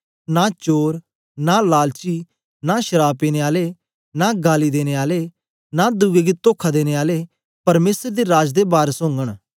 नां चोर नां लालची नां शराव पीने आले नां गाली देने आले नां दुए गी तोखा देने आले परमेसर दे राज दे वारस ओगन